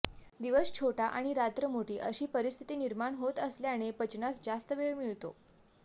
दिवस छोटा आणि रात्र मोठी अशी परिस्थिती निर्माण होत असल्याने पचनास जास्त वेळ मिळतो